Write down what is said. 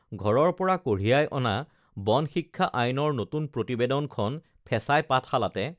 ঘৰৰ পৰা কঢ়িয়াই অনা বন শিক্ষা আইনৰ নতুন প্ৰতিবেদন খন ফেঁচাই পাঠশালাতে